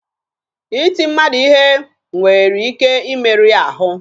Iti mmadụ ihe nwere ike imeru ya ahụ